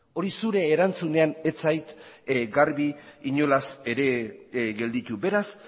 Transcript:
hori zure erantzunean ez zait garbi inolaz ere gelditu beraz